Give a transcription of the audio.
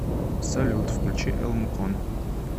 салют включи элмукон